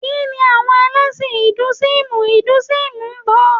Kíni àwọn ẹlẹ́sìn Ìnduísímù Induísímù ń bọ?